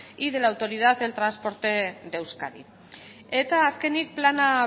y de la autoridad del transporte de euskadi eta azkenik plana